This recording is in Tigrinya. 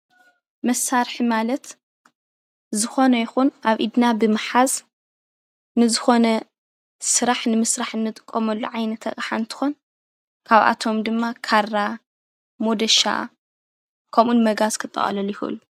መሳርሒ ማለት ዝኾነ ይኹን ኣብ ኢድና ብምሓዝ ንዝኾነ ስራሕ ንምስራሕ እንጥቀመሉ ዓይነት ኣቅሓ እንትኾን ካብ ኣቶም ድማ ካራ ፣ሞደሻ ፣ ከምኡ እውን መጋዝ ክጠቃለሉ ይኽእሉ፡፡